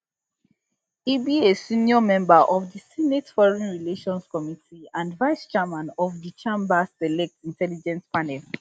e be a senior member of di senate foreign relations committee and vicechairman of di chamber select intelligence panel